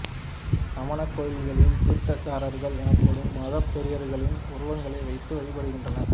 சமணக் கோயில்களில் தீர்த்தங்கரர்கள் எனப்படும் மதப் பெரியார்களின் உருவங்கள் வைத்து வழிபடப்படுகின்றன